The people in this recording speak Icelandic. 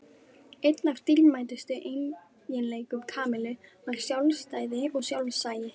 Einn af dýrmætustu eiginleikum Kamillu var sjálfstæði og sjálfsagi.